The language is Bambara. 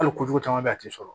Hali kojugu caman bɛ yen a tɛ sɔrɔ